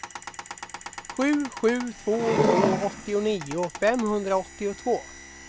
sju sju två två åttionio femhundraåttiotvå